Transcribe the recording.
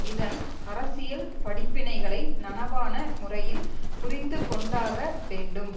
இதன் அரசியல் படிப்பினைகளை நனவான முறையில் புரிந்து கொண்டாக வேண்டும்